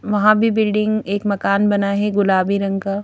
वहां भी बिल्डिंग एक मकान बना है गुलाबी रंग का--